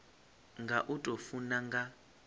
nga u tou funa nga